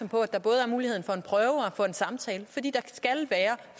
på at der både er muligheden for en prøve og for en samtale fordi der skal være